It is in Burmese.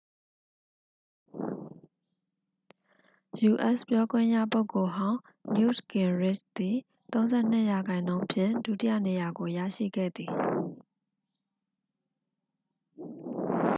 ယူအက်စ် ပြောခွင့်ရပုဂ္ဂိုလ်ဟောင်း နယူ့တ်ဂင်ရစ်ချ်သည် 32 ရာခိုင်နှုန်းဖြင့် ဒုတိယနေရာကို ရရှိခဲ့သည်